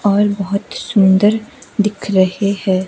और बहुत सुंदर दिख रहे हैं।